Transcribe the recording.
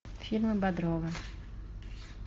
фильмы бодрова